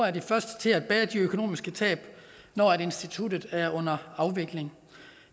er de første til at bære de økonomiske tab når instituttet er under afvikling